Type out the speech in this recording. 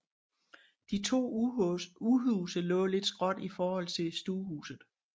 De to udhuse lå lidt skråt i forhold til stuehuset